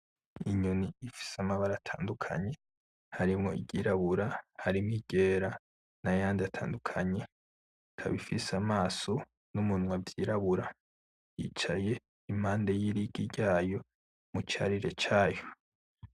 Inyoni ifise amabara atandukanye harimwo iryirabura harimwo iryera nayandi atandukanye, ikaba ifise amaso n'umunwa vyirabura, yicaye impande y'irigi ryayo mu carire cayo.